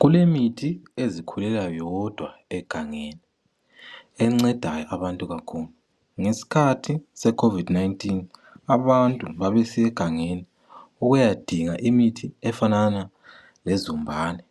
Kulemithi ezikhulela yodwa egangeni enceda abantu kakhulu. Ngesikhathi se COVID-19 abantu babesiya egangeni ukuyadinga imithi efanana lezombane.